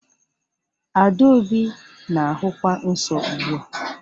Adaobi na-ahụkwa nsọ ugbu a